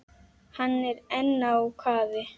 Hann er enn á kafi.